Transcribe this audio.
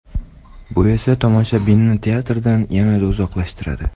Bu esa tomoshabinni teatrdan yanada uzoqlashtiradi.